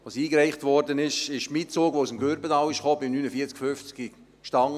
Als es eingereicht wurde, stand mein Zug, der aus dem Gürbetal kam, gerade beim Perron 49/50.